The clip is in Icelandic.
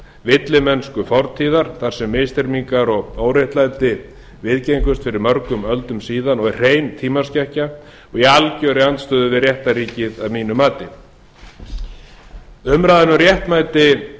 villimennsku fortíðar þar sem misþyrmingar og óréttlæti viðgengust fyrir mörgum öldum síðan og er hrein tímaskekkja og í algerri andstöðu við réttarríkið að mínu mati umræðan um réttmæti